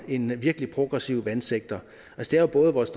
en virkelig progressiv vandsektor det er jo både vores